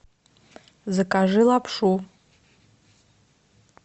закажи лапшу